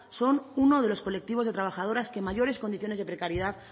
son uno de los colectivos de trabajadoras que mayores condiciones de precariedad